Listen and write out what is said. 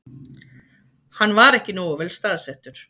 Hann var ekki nógu vel staðsettur